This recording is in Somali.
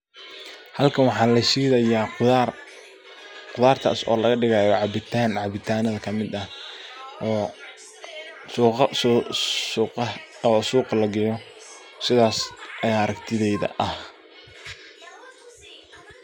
Halkan waxa lashidayaa khudaar, khudartas oo laga dhigaya cabitan oo cabitanadha kamid ah oo suqa lageyo sidhas ayaa aragtideyda ah.